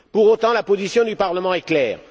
Pour autant, la position du Parlement est claire